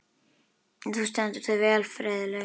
Þú stendur þig vel, Friðlaug!